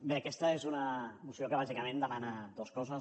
bé aquesta és una moció que bàsicament demana dues coses